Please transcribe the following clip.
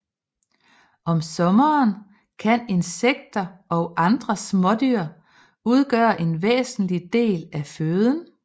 Om sommeren kan insekter og andre smådyr udgøre en væsentlig del af føden